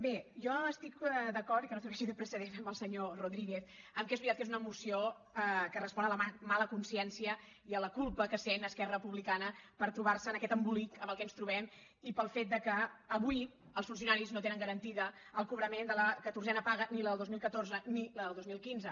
bé jo estic d’acord i que no serveixi de precedent amb el senyor rodríguez que és veritat que és una moció que respon a la mala consciència i a la culpa que sent esquerra republicana pel fet de trobar se en aquest embolic en què ens trobem i pel fet que avui els funcionaris no tenen garantit el cobrament de la catorzena paga ni la del dos mil catorze ni la del dos mil quinze